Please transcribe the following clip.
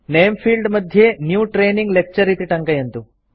नेम field मध्ये new training lecture इति टङ्कयन्तु